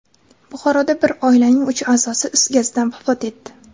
Buxoroda bir oilaning uch a’zosi is gazidan vafot etdi.